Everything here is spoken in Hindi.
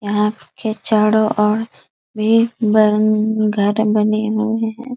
यहाँ के चारों ओर भी बैलून घर बने हुए हैं।